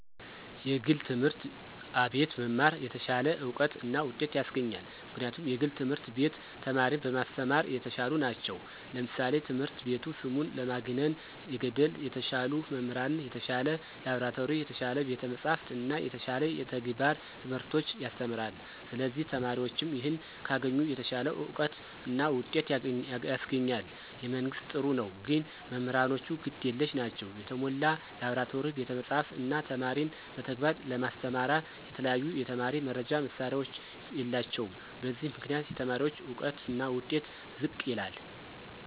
የግል ትምህርት አቤት መማር የተሻለ እውቀት እና ውጤት ያሰገኛል ምክንያቱም የግል ትምህርት ቤት ተማሪን በማሰተማራ የተሻሉ ነቸው ለምሳሌ ትምህረት ቤቱ ስሙን ለማግነነ የገድ የተሻሉ መምህራን፣ የተሻለ ላብራቶሪ፣ የተሻለ ቤተ መፅሐፍት እና የተሻለ የተግባረ ትምህርቶች ያሰተምራለ ስለዚህ ተማሪዎችም ይህን ካገኙ የተሻለ አውቀት እና ውጤት ያስገኛል። የመንግስት ጥሩ ነው ግን መምህራኖቹ ግድ የለሽ ናቸው የተሞላ ላብራቶሪ፣ ቤተ መፅሐፍ፣ እነ ተማሪን በተግባር ለማስተማራ የተለያዩ የተማሪ መርጃ መሳሪያዎች የላቸውም በዚህ ምክንያት የተማሪዎች እውቀትና ውጤት ዝቅ ይላል።